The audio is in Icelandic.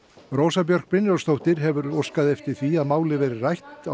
Rósa Björk Brynjólfsdóttir hefur óskað eftir því að málið verði rætt